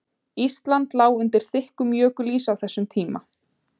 Ísland lá undir þykkum jökulís á þessum tíma.